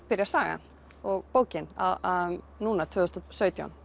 byrjar sagan og bókin núna tvö þúsund og sautján